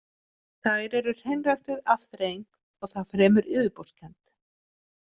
Þær eru hreinræktuð afþreying og það fremur yfirborðskennd.